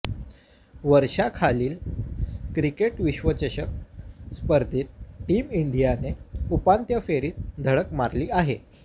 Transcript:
वर्षाखालील क्रिकेट विश्वचषक स्पर्धेत टीम इंडियाने उपान्त्य फेरीत धडक मारली आहे